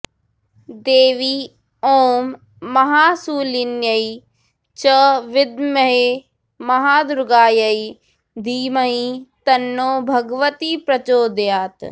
देवी ॐ महाशूलिन्यै च विद्महे महादुर्गायै धीमहि तन्नो भगवती प्रचोदयात्